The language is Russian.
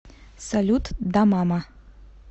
салют да мама